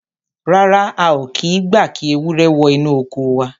Rárá, a ò kì í gba kí ewúrẹ́ wọ inú oko wa.